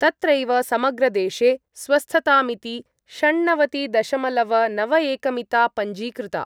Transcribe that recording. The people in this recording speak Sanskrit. तत्रैव समग्रदेशे स्वस्थतामिति षण्णवतिदशमलवनवएकमिता पञ्जीकृता।